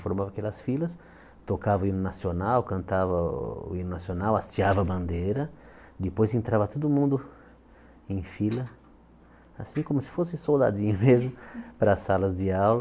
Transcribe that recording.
Formava aquelas filas, tocava o hino nacional, cantava o hino nacional, hasteava a bandeira, depois entrava todo mundo em fila, assim como se fosse soldadinho mesmo, para as salas de aula.